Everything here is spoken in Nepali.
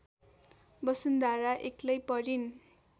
वसुन्धरा एक्लै परिन्